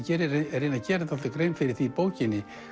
reyni að gera dálítið grein fyrir því í bókinni